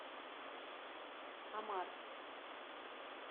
омар